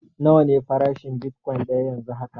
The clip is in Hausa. Nawa ne farashin bitkwain daya yanzu haka?